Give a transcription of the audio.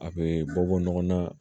A bɛ bɔ bɔ ɲɔgɔn na